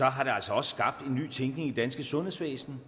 har det altså også skabt en ny tænkning i det danske sundhedsvæsen